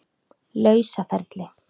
lausa ferli.